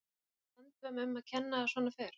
En er handvömm um að kenna að svona fer?